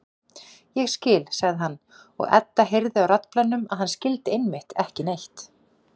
Ég skil, sagði hann, og Edda heyrði á raddblænum að hann skildi einmitt ekki neitt.